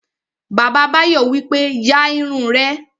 Bàbá Báyọ̀ wípé, "ya irun rẹ!"